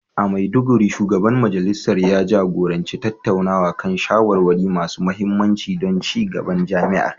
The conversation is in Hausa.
A Maiduguri, Shugaban Majalisar ya jagoranci tattaunawa kan shawarwari masu mahimmanci don ci gaban jami'ar.